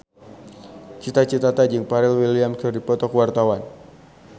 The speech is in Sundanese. Cita Citata jeung Pharrell Williams keur dipoto ku wartawan